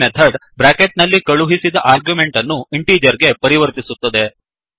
ಈ method bracket ನಲ್ಲಿ ಕಳುಹಿಸಿದ ಆರ್ಗ್ಯುಮೆಂಟ್ ಅನ್ನು ಇಂಟಿಜರ್ ಗೆ ಪರಿವರ್ತಿಸುತ್ತದೆ